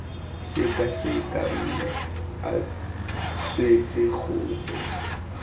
sekaseka mme a swetse gore